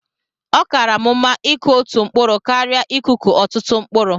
Ọ kaara m mma ịkụ otú mkpụrụ karịa ikụkọ ọtụtụ mkpụrụ